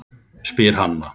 spyr Hanna.